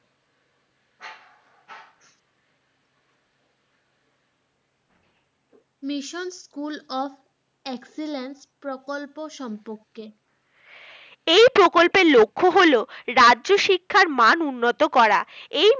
Mission School of Excellence প্রকল্প সম্পর্কে এই প্রকল্পের লক্ষ্য হলো রাজ্য শিক্ষার মান উন্নত করা